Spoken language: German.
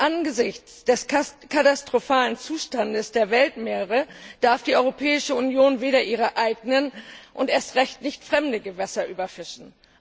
Angesichts des katastrophalen Zustandes der Weltmeere darf die Europäische Union nicht ihre eigenen und erst recht nicht fremde Gewässer überfischen.